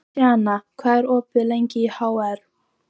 Sjana, hvað er opið lengi í HR?